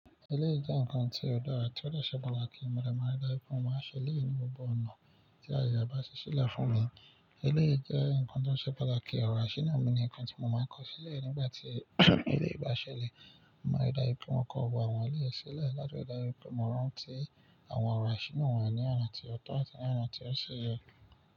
Éléyì jẹ́ nǹkan tí ó dára tí ó de ṣẹ́ patakí mọ dé máa ń rí dáju pè, mo máa ń ṣẹ elẹ̀yi ní gbogbo ọ̀nà tí àyè e bá ṣí ṣíle fún mi. Eleyii jẹ́ nǹkan tó ṣe pàtàkì ọ̀rọ̀ àṣínà mì ni nkan tí mo máa ń kọ́ sílẹ̀ nígbà tí eleyii bá ṣẹlẹ̀. Mo máa rí dá pè mo kọ ọwọ́ àwọn eleyii sílẹ̀ láti rí dájú pé mo rantí àwọn ọ̀rọ̀ àṣínà wà ní ọ̀nà tí ọ̀tọ̀ àti ní ọ̀nà tí ó ṣe yọ.